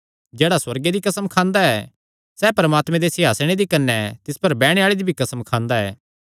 जेह्ड़ा सुअर्गे दी कसम खांदा ऐ सैह़ परमात्मे दे सिंहासणे दी कने तिस पर बैठणे आल़े दी भी कसम खांदा ऐ